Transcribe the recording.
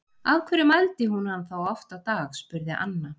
Af hverju mældi hún hann þá oft á dag? spurði Anna.